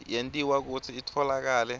yentiwa kutsi itfolakale